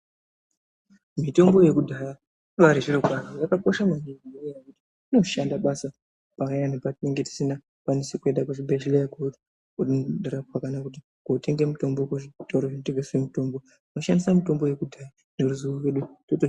Mitombo yekudhaya ibaari zvirokwazvo yakakosha maningi ngenyaya yekuti inoshanda basa payani patinenge tisikakwanisi kuenda kuzvibhehleya koorapwa. Kana kuti kuotenge mutombo kuzvitoro zvinotengese mutombo. Toshandisa mutombo yekudhaya neruzivo rwedu toto...